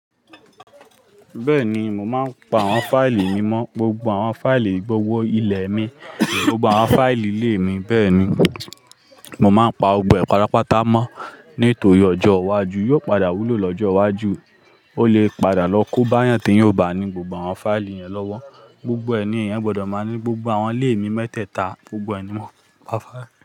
Bẹ́ẹ̀ni, mo máa ń pa àwọn fáìlì mi mọ́, gbogbo àwọn fáìlì gbówó ilẹ̀ mi, gbogbo àwọn fáìlì ilé mi. Bẹ́ẹ̀ni, mo máa ń pa gbogbo ẹ pátápátá mọ́ nítorí ọjọ́ iwájú yóò padà wúlò lọ́jọ́ iwájú, ó lè padà lọ kó bá yàn tí yóò bá ní gbogbo àwọn fáìlì yẹn lọ́wọ́. Gbogbo ẹni yẹn gbọdọ̀ máa ní gbogbo àwọn ilé mi mẹ́tẹ́ẹ̀ta, gbogbo ẹni mọ́.